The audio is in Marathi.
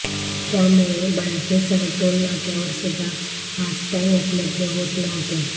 त्यामुळे बँकेसह टोल नाक्यावर सुद्धा फास्टॅग उपलब्ध होत नव्हते